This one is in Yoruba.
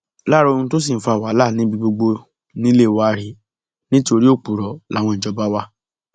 lára ohun tó sì ń fa wàhálà níbi gbogbo nílé wa rèé nítorí òpùrọ làwọn ìjọba wa